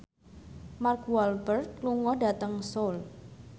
Mark Walberg lunga dhateng Seoul